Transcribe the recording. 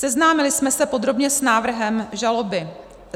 Seznámili jsme se podrobně s návrhem žaloby.